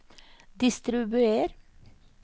distribuer